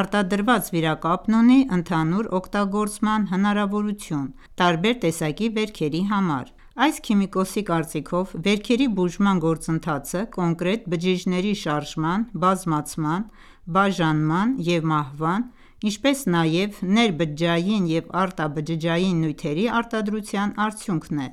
արտադրված վիրակապն ունի ընդհանուր օգտագործման հնարավորություն տարբեր տեսակի վերքերի համար: Այս քիմիկոսի կարծիքով՝ վերքերի բուժման գործընթացը կոնկրետ բջիջների շարժման, բազմացման, բաժանման և մահվան, ինչպես նաև ներբջջային և արտաբջջային նյութերի արտադրության արդյունքն է։